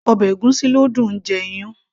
ọbẹ̀ ègúsí ló dùn -un jẹ iyán